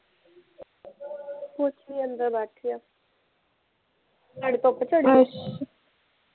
ਕੁਛ ਨੀ ਅੰਦਰ ਬੈਠੀ ਆ ਤੁਹਾਡੇ ਧੁੱਪ ਚੜੀ ਐ